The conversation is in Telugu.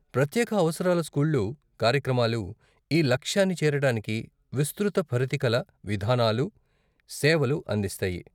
ప్రత్యేక అవసరాల స్కూళ్ళు, కార్యక్రమాలు ఈ లక్ష్యాన్ని చేరటానికి విస్తృత పరిధికల విధానాలు, సేవలు అందిస్తాయి.